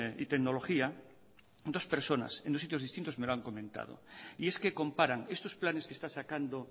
y tecnología dos personas en dos sitios distintos me lo han comentado y es que comparan estos planes que está sacando